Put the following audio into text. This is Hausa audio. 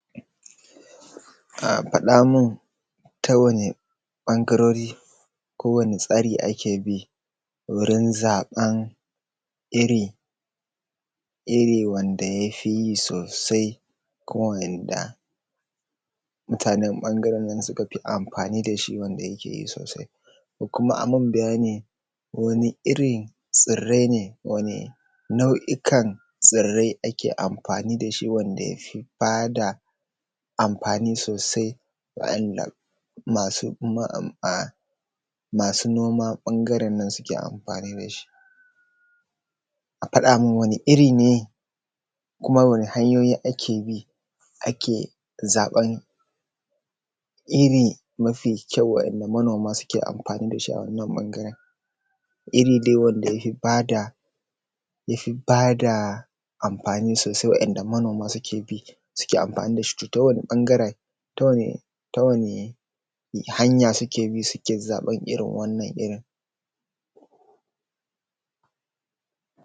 Faɗa mun ta wane ɓangarori ko ta wani tsari ake bi wurin zaɓar iri wanda ya fi sosai kuma wanda mutaneːn ɓangare nan suka fi anfani da shi ya fi yi sosai. Kuma a yi mun bayani wani irin tsirrai ne nau’ikan tsirrai ake anfani da wanda ya fi ba da amfani sosai masu noman ɓangaren nan suke amfani da shi. A faɗa mun wani iri neːː kuma wasu hanyoyi ake bi ake zaɓan iri mafi ƙyau waɗanda manoma suke anfani da shi a wannan ɓangaren. Iri dai wadda ya fi ba da anfani sosai wanda manoma suke bi suke anfani da shi sosai, to ta wani ɓangaren ta wani hanya suke bi suke zaɓar wannan irin